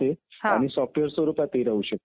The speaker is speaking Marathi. निवडणुकीचे अनेक प्रकार पडतात.